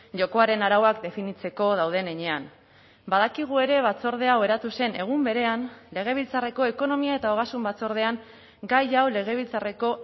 jokoaren arauak definitzeko dauden heinean badakigu ere batzorde hau eratu zen egun berean legebiltzarreko ekonomia eta ogasun batzordean gai hau legebiltzarreko